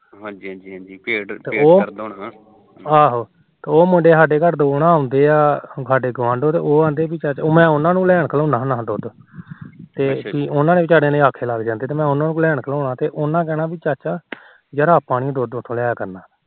ਉਹ ਮੁੰਡੇ ਸਾਡੇ ਘਰ ਆਉਂਦੇ ਆ ਉਹ ਕਹਿੰਦੇ ਮੈ ਉਹਨਾ ਨੂੰ ਘਲੋਦਾ ਹੁੰਦਾ ਲੈਣ ਦੁਧ ਤੇ ਉਹ ਵਿਚਾਰੇ ਆਖੇ ਲੱਗ ਜਾਂਦੇ ਮੈਨੂੰ ਕਹਿੰਣਾ ਚਾਚਾ ਯਾਰ ਆਪਾ ਨੀ ਦੁਧ ਉਥੋ ਲਿਆ ਕਰਨਾ